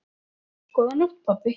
Góða nótt, pabbi.